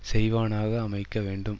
செய்வானாக அமைக்க வேண்டும்